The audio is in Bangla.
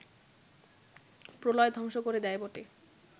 প্রলয় ধ্বংস করে দেয় বটে